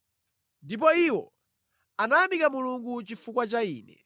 Ndipo iwo anayamika Mulungu chifukwa cha ine.